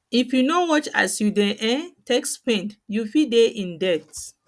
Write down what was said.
if yu no watch as yu dey um take spend yu fit dey in debt